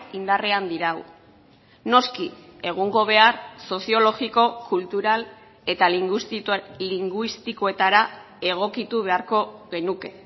indarrean dirau noski egungo behar soziologiko kultural eta linguistikoetara egokitu beharko genuke